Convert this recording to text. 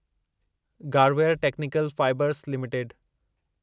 Garware technical fibres limited